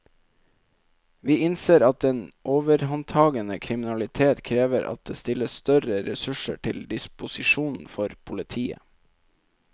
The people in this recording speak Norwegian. Vi innser at den overhåndtagende kriminalitet krever at det stilles større ressurser til disposisjon for politiet.